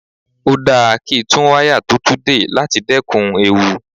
Ó dáa kí tún wáyà tó tú dè láti dẹ́kun ewu.